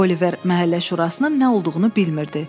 Oliver məhəllə şurasının nə olduğunu bilmirdi.